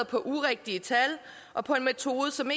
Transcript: på urigtige tal og på en metode som